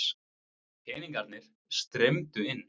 Peningarnir streymdu inn.